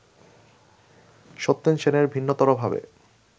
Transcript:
সত্যেন সেনের ভিন্নতরভাবে